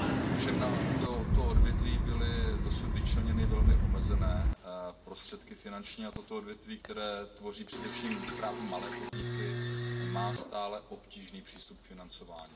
Ovšem na toto odvětví byly dosud vyčleněny velmi omezené finanční prostředky a toto odvětví, které tvoří především právě malé podniky, má stále obtížný přístup k financování.